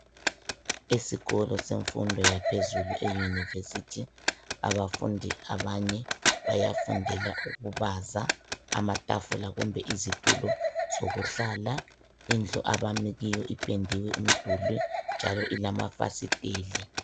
Esikolo semfundo yaphezulu eYunivesithi abafundi abanye bayafundela ukubaza amatafula kumbe izitulo zokuhlala. Indlu abami kuyo ipendiwe umduli njalo ilamafasiteli.